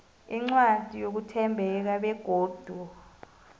incwadi yokuthembeka begodu